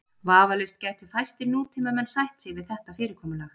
Vafalaust gætu fæstir nútímamenn sætt sig við þetta fyrirkomulag.